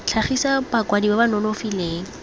tlhagisa bakwadi ba ba nonofileng